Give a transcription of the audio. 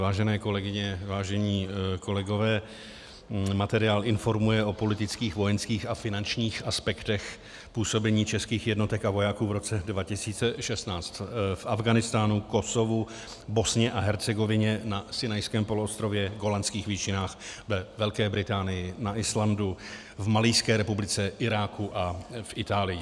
Vážené kolegyně, vážení kolegové, materiál informuje o politických, vojenských a finančních aspektech působení českých jednotek a vojáků v roce 2016 v Afghánistánu, Kosovu, Bosně a Hercegovině, na Sinajském poloostrově, Golanských výšinách, ve Velké Británii, na Islandu, v Malijské republice, Iráku a v Itálii.